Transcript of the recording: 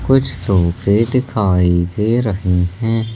कुछ सोफे दिखाई दे रहे हैं।